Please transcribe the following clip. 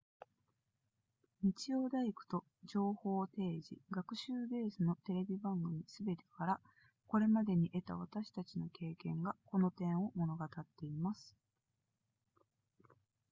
日曜大工と情報提示学習ベースのテレビ番組すべてからこれまでに得た私たちの経験がこの点を物語っています